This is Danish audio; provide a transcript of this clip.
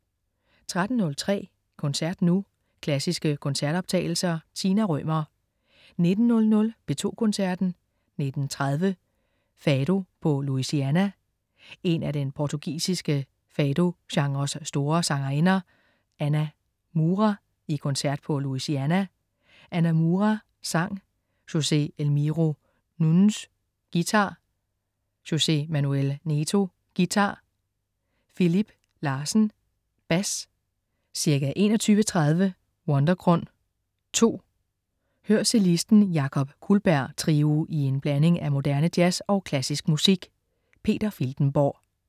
13.03 Koncert nu. Klassiske koncertoptagelser. Tina Rømer 19.00 P2 Koncerten. 19.30 Fado på Louisiana. En af den portugisiske fado-genres store sangerinder, Ana Moura, i koncert på Louisiana. Ana Moura, sang. Jose Elmiro Nunes, guitar. Jose Manuel Neto, guitar. Filipe Larsen, bas. Ca. 21.30 Wundergrund (2). Hør cellisten Jakob Kullberg Trio i en blanding af moderne jazz og klassisk musik. Peter Filtenborg